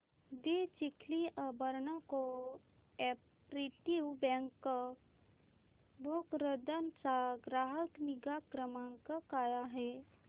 दि Chikhli urban co-operative bank Bhokardan चा ग्राहक निगा क्रमांक काय आहे